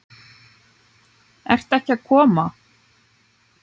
Ert ekki að koma?